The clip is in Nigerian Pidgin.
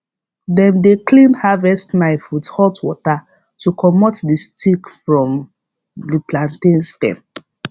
dem dey clean harvest knife with hot water to comot the stick from the plantain stem